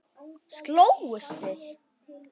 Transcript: Slógust þið?